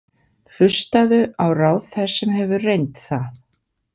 Hlustaðu á ráð þess sem hefur reynt það.